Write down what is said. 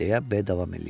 deyə B davam eləyirdi.